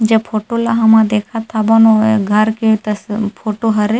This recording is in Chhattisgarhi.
जे फोटो ल हमन देखत हाबन ओह घर के तस् फ़ोटो हरे।